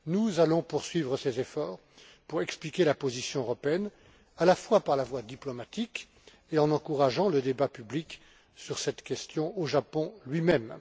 Nous allons poursuivre ces efforts pour expliquer la position européenne, à la fois par la voie diplomatique et en encourageant le débat public sur cette question au Japon lui même.